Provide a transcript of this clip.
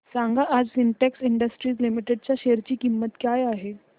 सांगा आज Sintex industries limited च्या शेअर ची किंमत काय आहे